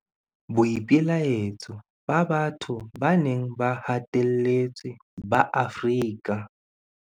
Boipelaetso ba batho ba neng ba hatelletswe ba Afrika.